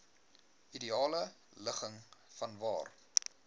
ideale ligging vanwaar